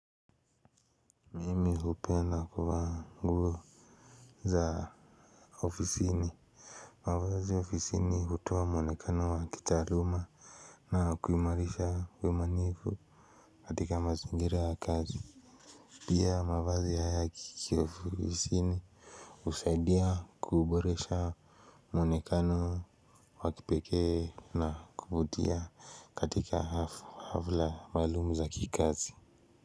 Mimi hupenda kuvaa nguo za ofisini. Mavazi ofisini hutoa muonekano wa kitaaluma na kuimarisha uaminifu. Katika mazingira ya kazi. Pia mavazi haya ya kiofisini husaidia kuboresha muonekano wa kipekee na kuvutia katika hafla maalum za kikazi.